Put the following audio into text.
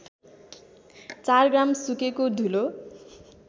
४ gram सुकेको धुलो